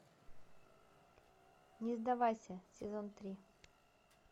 не сдавайся сезон три